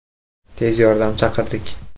Tez yordam chaqirdik!